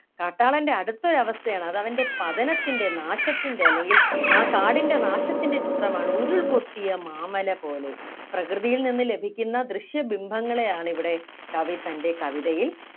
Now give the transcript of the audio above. കാട്ടാളൻ്റെ അടുത്തൊരു അവസ്ഥയാണ് അത് അവൻ്റെ പതനത്തിൻ്റെ നാശത്തിൻ്റെ അല്ലെങ്കിൽ ആ കാടിൻ്റെ നാശത്തിൻ്റെ ചിത്രമാണ് ഉരുൾപൊട്ടിയ മാമല പോലെ പ്രകൃതിയിൽ നിന്ന് ലഭിക്കുന്ന ദൃശ്യ ബിംബങ്ങളെയാണ് ഇവിടെ കവി തൻ്റെ കവിതയിൽ